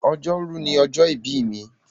Ọjọ́rú ni ọjọ́ ìbí mi.